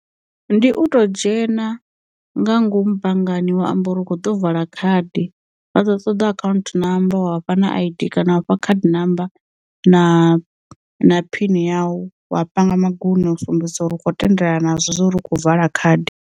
Ndi u to dzhena nga ngomu banngani wa amba uri u kho ḓo vala khadi vha dza ṱoḓa akhaunthu namba wa vhafha na aids kana u fha khadi namba na na phini yau, wa panga magunwe u sumbedzisa uri u khou tendelana nazwo uri u khou vala khadi.